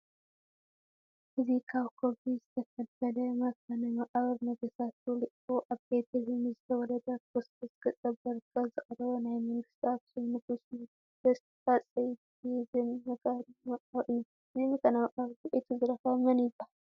እዚ ካብ ከውሒ ዝተፈልፈለ መካነ መቓብር ነገስታቱ ልኢኹ ኣብ ቤተ ልሄም ንዝተወለደ ክርስቶስ ገፀ በረከት ዘቕረበ ናይ መንግስቲ ኣኽሱም ንጉሰ ነገስት ሃፀይ ባዜን መካነ መቃብር እዩ፡፡ ነዚ መካነ መቃብር ኩዒቱ ዝረኸበ መንይበሃል?